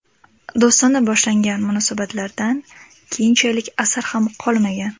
Do‘stona boshlangan munosabatlardan keyinchalik asar ham qolmagan.